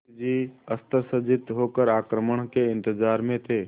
मुंशी जी अस्त्रसज्जित होकर आक्रमण के इंतजार में थे